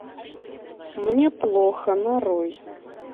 мне плохо нарой